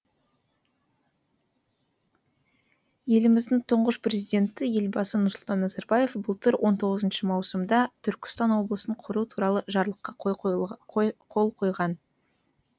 еліміздің тұңғыш президенті елбасы нұрсұлтан назарбаев былтыр он тоғызыншы маусымда түркістан облысын құру туралы жарлыққа қол қойған